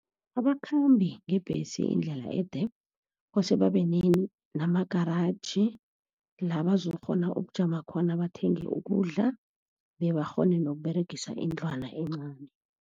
Abakhambi ngebhesi indlela ede, kose babe nama-garage la bazokukghona ukujama khona, bathenge ukudla, bebakghone nokuberegisa indlwana encani.